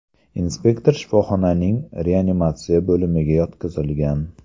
Inspektor shifoxonaning reanimatsiya bo‘limiga yotqizilgan.